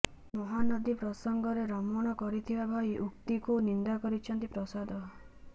ମହାନଦୀ ପ୍ରସଙ୍ଗରେ ରମଣ କହିଥିବା ଭାଇ ଉକ୍ତିକୁ ନିନ୍ଦା କରିଛନ୍ତି ପ୍ରସାଦ